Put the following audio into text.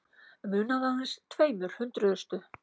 Munaði aðeins tveimur hundruðustu